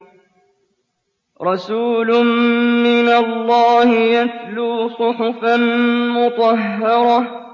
رَسُولٌ مِّنَ اللَّهِ يَتْلُو صُحُفًا مُّطَهَّرَةً